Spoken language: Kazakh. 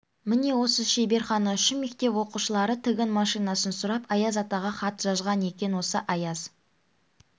міне осы шеберхана үшін мектеп оқушылары тігін машинасын сұрап аяз атаға хат жазған екен осы аяз